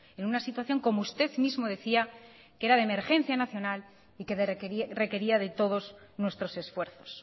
en una situación como usted mismo decía que era de emergencia nacional y que requería de todos nuestros esfuerzos